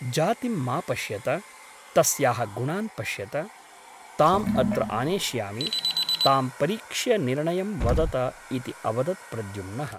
जातिं मा पश्यत । तस्याः गुणान् पश्यत । ताम् अत्र आनेष्यामि । तां परीक्ष्य निर्णयं वदत इति अवदत् प्रद्युम्नः ।